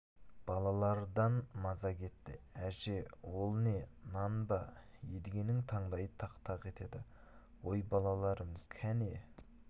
балалардан маза кетті әже ол не нан ба едігенің таңдайы тақ-тақ етеді ой балаларым кәне